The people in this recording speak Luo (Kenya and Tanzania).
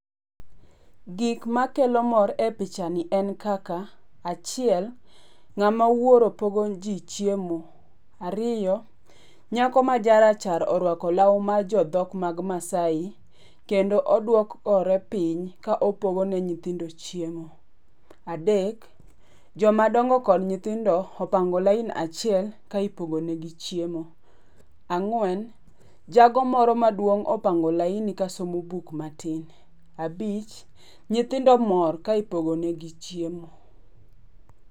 Gik makelo mor e picha ni en kaka achiel, ng'ama wuoro pogo ji chiemo. Ariyo, nyako ma jarachar oruako law mar jodhok mag Maasai, kendo oduokore piny ka opogo ne nyithindo chiemo. Adek, joma dongo kod nyithindo opango laini achiel ka ipogo negi chiemo. Ang'wen, jago moro maduong' opango laini kasomo buk matin. Abich, nyithindo mor ka ipogo negi chiemo.